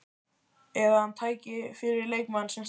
Eða að hann tæki fyrir leikmenn, sem stæðu sig illa?